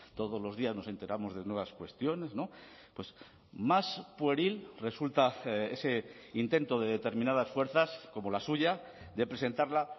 todos los días nos enteramos de nuevas cuestiones más pueril resulta ese intento de determinadas fuerzas como la suya de presentarla